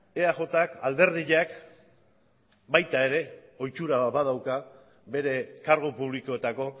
eajk alderdiak baita ere ohitura badauka bere kargu publikoetako